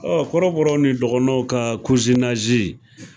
kɔrɔbɔrɔ ni dɔgɔnɔnw ka